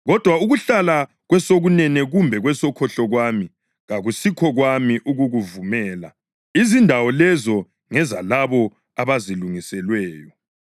kodwa ukuhlala kwesokunene kumbe kwesokhohlo kwami kakusikho kwami ukukuvumela. Izindawo lezi ngezalabo abazilungiselweyo.”